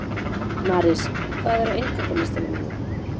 Marís, hvað er á innkaupalistanum mínum?